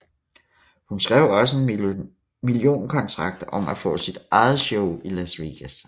Hun skrev også en millionkontrakt om at få sit eget show i Las Vegas